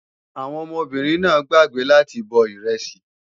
Àwọn ọmọbìnrin náà gbàgbé láti bọ ìrẹsì